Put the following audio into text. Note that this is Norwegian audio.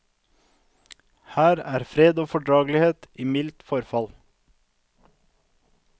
Her er fred og fordragelighet i mildt forfall.